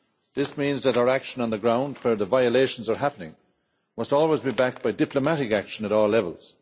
This means that our action on the ground, where the violations are happening, must always be backed by diplomatic action at all levels.